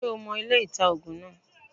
Ṣé o mo ilé-ìta -ògùn naa